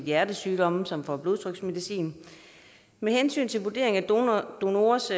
hjertesygdomme som får blodtryksmedicin med hensyn til vurdering af donorers